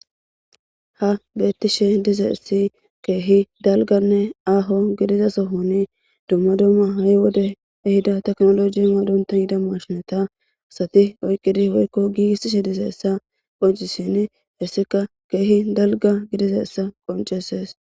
ha bettishe diza essi keehi dalganne aaho gidiza sohoni dumma dumma ha7i wode ehida teknoloji maadonta hida mashinata asati oyqqidi woykko giiiishe diza essa qoncisin hessika keehi dalga gidiza essa qonceses